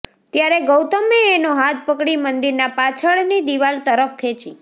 ત્યારે ગૌતમે એનો હાથ પકડી મંદિરના પાછળની દિવાલ તરફ ખેંચી